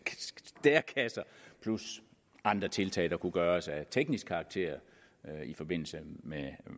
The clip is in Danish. plus andre tiltag der kunne gøres af teknisk karakter i forbindelse med